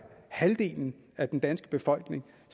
halvdelen af den danske befolkning